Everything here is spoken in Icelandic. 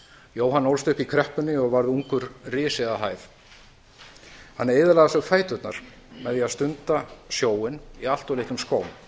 jóhann ólst upp í kreppunni og varð ungur risi að hæð hann eyðilagði á sér fæturna með því að stunda sjóinn í allt of litlum skóm